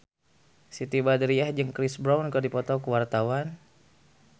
Siti Badriah jeung Chris Brown keur dipoto ku wartawan